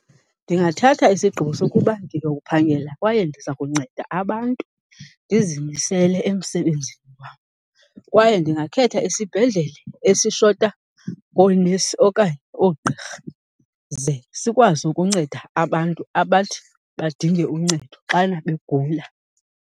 Ndingathatha isigqibo sokuba ndiyophangela kwaye ndiza kunceda abantu, ndizimisele emsebenzini wam. Kwaye ndingakhetha isibhedlele esishota ngoonesi okanye oogqirha ze sikwazi ukunceda abantu abathi badinge uncedo xana begula.